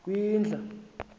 kwindla